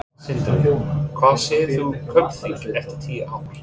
Sindri: Hvar sérð þú Kaupþing eftir tíu ár?